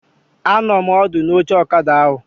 Anọ m ọdụ n'oche ọkada ahụ